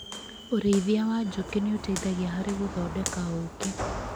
ũrĩithia wa njũkĩ nĩ ũteithagia harĩ gũthondeka ũũkĩ.